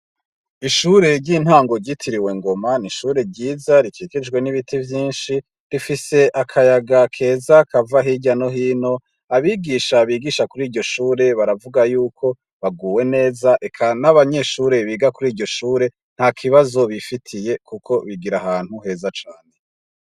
Ishure ry'intangugyitiriwe ngoma n’ishure ryiza rikikijwe n'ibiti vyinshi rifise akayaga keza kava hirya nohino abigisha bigisha kuri iryo shure baravuga yuko baguwe neza eka n'abanyeshure biga kuri iryo shure nta kibazo bifitiye, kuko bigira ahantu heza cane.